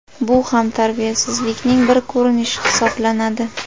Bu ham tarbiyasizlikning bir ko‘rinishi hisoblanadi.